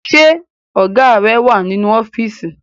Ṣé Ọ̀gá rẹ wà nínú ọ́fíìsì